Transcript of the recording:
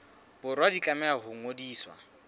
borwa di tlameha ho ngodiswa